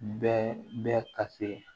Bɛɛ bɛ ka se